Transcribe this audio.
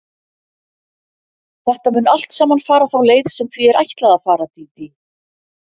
Þetta mun allt saman fara þá leið sem því er ætlað að fara, Dídí.